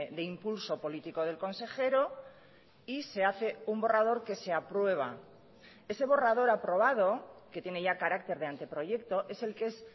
de impulso político del consejero y se hace un borrador que se aprueba ese borrador aprobado que tiene ya carácter de anteproyecto es el que es